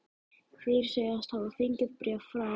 Þeir segjast hafa fengið bréf frá